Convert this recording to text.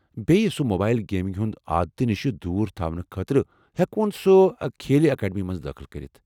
بیٚیہ سُہ mobile gaming ہنٛدِ عادتہٕ نِشہِ دوٗر تھاونہٕ خٲطرٕ ہیٚکون سُہ كھیلہِ اكاڈمی منز دٲخلہٕ كرِتھ ۔